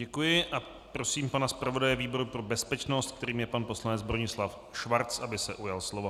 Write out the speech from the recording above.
Děkuji a prosím pana zpravodaje výboru pro bezpečnost, kterým je pan poslanec Bronislav Schwarz, aby se ujal slova.